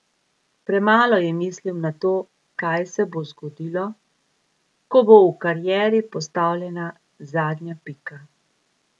Premalo je misli na to, kaj se bo zgodilo, ko bo v karieri postavljena zadnja pika.